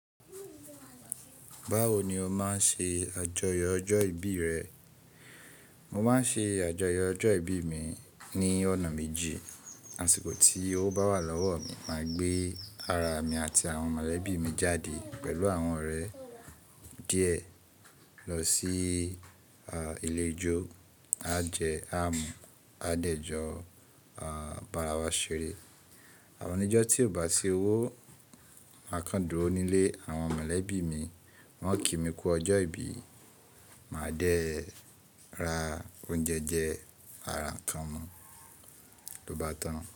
Báwo ni o máa ń ṣe àjọyọ̀ ọjọ́ ìbí rẹ? Mo máa ń ṣe àjọyọ̀ ọjọ́ ìbí mi ní ọ̀nà méjì. Àṣìkò tí owó bá wà lọ́wọ́ mi, màá gbé ara mi àti àwọn mọ̀lẹ́bí mi jáde pẹ̀lú àwọn ọ̀rẹ́ díẹ̀ lọ sí ìlejò, á jẹ, á mu, á dẹ̀jọ, á bara wa ṣeré. Àwọn ọjọ́ tí ò bá sí owó, màá kán dúró nílé àwọn mọ̀lẹ́bí mi. Wọ́n ó kí mi kú ọjọ́ ìbí, màá jẹ, ra oúnjẹ jẹz maa ra ń kan mu, ló bá tán.